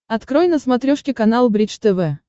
открой на смотрешке канал бридж тв